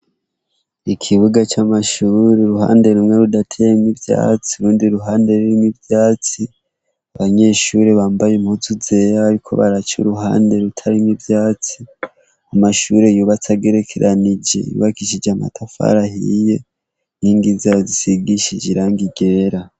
Ikibuga c'amashure, uruhande rumwe rudateyemwo ivyatsi. Urundi ruhande rurimwo ivyatsi abanyeshure bambaye impuzu zera bariko baca iruhande rutarimwo ivyatsi. Amashure yubatse agerekeranije yubakishije amatafari ahiye, inkingi zaho zisigishije ibara ryera.